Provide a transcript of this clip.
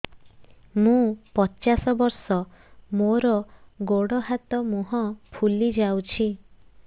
ମୁ ପଚାଶ ବର୍ଷ ମୋର ଗୋଡ ହାତ ମୁହଁ ଫୁଲି ଯାଉଛି